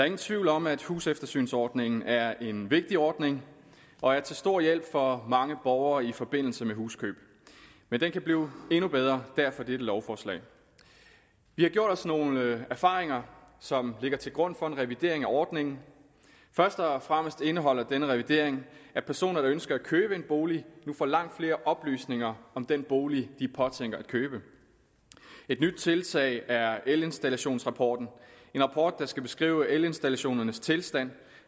ingen tvivl om at huseftersynsordningen er en vigtig ordning og er til stor hjælp for mange borgere i forbindelse med huskøb men den kan blive endnu bedre og derfor dette lovforslag vi har gjort os nogle erfaringer som ligger til grund for en revidering af ordningen først og fremmest indeholder denne revidering at personer der ønsker at købe en bolig nu får langt flere oplysninger om den bolig de påtænker at købe et nyt tiltag er elinstallationsrapporten en rapport der skal beskrive elinstallationernes tilstand